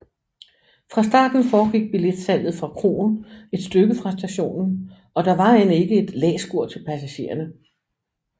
Fra starten foregik billetsalget fra kroen et stykke fra stationen og der var end ikke et læskur til passagererne